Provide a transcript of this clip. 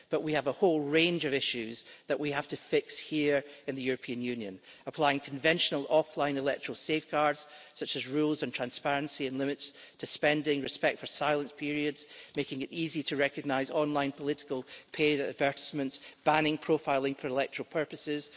We have a whole range of issues that we have to fix here in the European Union applying conventional offline electoral safeguards, such as rules and transparency and limits to spending, respect for silence periods, making it easy to recognise online political paid advertisements and banning profiling for electoral purposes.